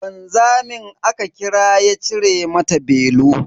Wanzami aka kira ya cire mata belu.